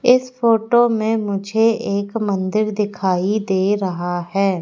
इस फोटो में मुझे एक मंदिर दिखाई दे रहा है।